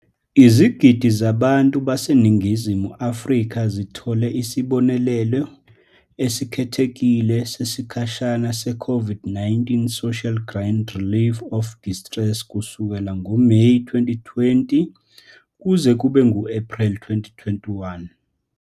Izigidi zabantu baseNingizimu Afrika zithole isibonelelo esikhethekile sesikhashana se-COVID-19 Social Relief of Distress kusukela ngoMeyi 2020 kuze kube ngu-Ephreli 2021.